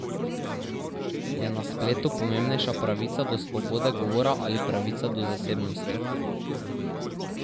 Je na spletu pomembnejša pravica do svobode govora ali pravica do zasebnosti?